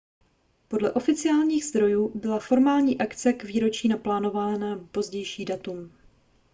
podle oficiálních zdrojů byla formální akce k výročí naplánována na pozdější datum